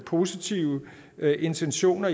positive intentioner